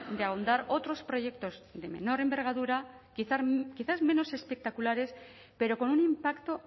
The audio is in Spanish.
de ahondar otros proyectos de menor envergadura quizás menos espectaculares pero con un impacto